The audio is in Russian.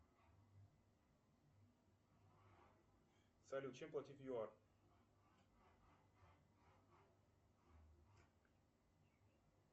салют чем платить в юар